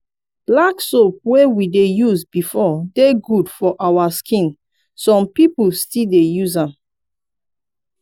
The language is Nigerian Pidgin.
black soap wey we dey use before dey good for our skin some pipo still dey use am